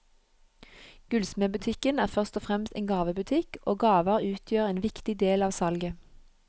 Gullsmedbutikken er først og fremst en gavebutikk, og gaver utgjør en viktig del av salget.